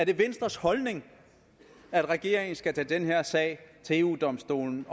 venstres holdning at regeringen skal tage den her sag til eu domstolen